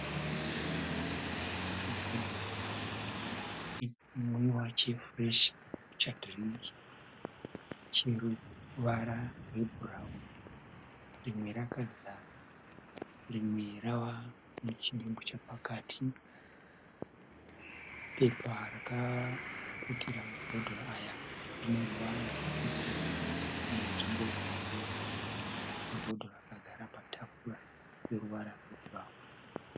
Mabhodhoro maviri echinwiwa chefureshi Kambucha dhiringi. Chino ruvara rwebhurauni, rimwe rakazara, rimwe rava nechidimbu chepakati. Pepa rakaputira mabhodhoro aya rine ruvara rwepepuru nenzvimbo ine yero. Mabhodhoro akagara patafura ine ruvara rwebhurauni.